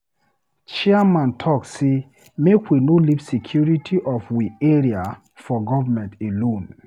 Chairman talk sey make we no leave security of we area for govement alone.